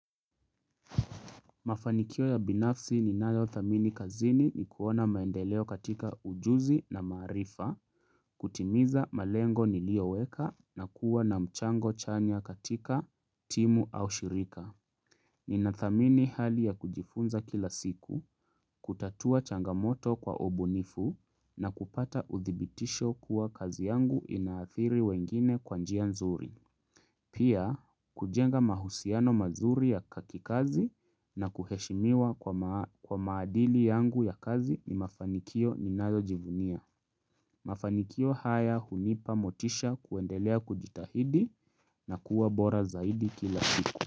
Mafanikio ya binafsi ninayo dhamini kazini ni kuona maendeleo katika ujuzi na maarifa, kutimiza malengo niliyo weka na kuwa na mchango chanya katika timu au shirika. Ninadhamini hali ya kujifunza kila siku, kutatua changamoto kwa ubunifu na kupata udhibitishi kuwa kazi yangu inaathiri wengine kwa njia nzuri. Pia, kujenga mahusiano mazuri ya ka kikazi na kuheshimiwa kwa maadili yangu ya kazi ni mafanikio ninayo jivunia. Mafanikio haya hunipa motisha kuendelea kujitahidi na kuwa bora zaidi kila siku.